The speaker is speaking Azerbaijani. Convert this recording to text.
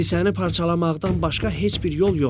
Kisəni parçalamaqdan başqa heç bir yol yoxdur.